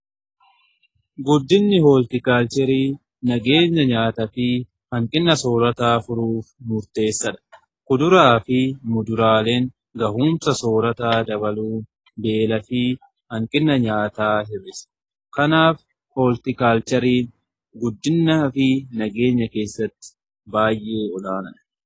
guddinni hooltikaalcherii nageenya nyaataa fi hanqinna soorataa furuuf murteessadha . kuduraa fi muduraaleen gahuumsa soorataa dabaluu beela fi hanqina nyaataa hirisa. kanaaf hooltikaalcheriin guddinna fi nageenya keessatti baay'ee olaanaadha.